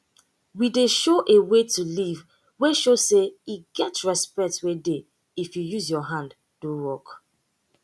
we dey show a way to live wey show say e get respect wey dey if u use ur hand do work